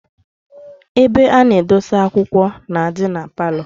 Ebe ana edosi akwukwo na-adi na parlour